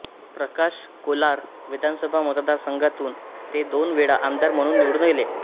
प्रकाश कोलार विधानसभा मतदार संघातून ते दोन वेळा आमदार म्हणून निवडून गेले